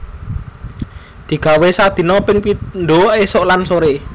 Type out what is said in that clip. Digawé sadina ping pindho esuk lan sore